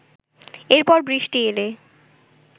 এরপর বৃষ্টি এলো